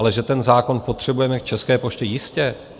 Ale že ten zákon potřebujeme k České poště, jistě.